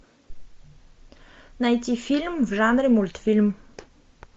найти фильм в жанре мультфильм